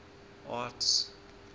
arts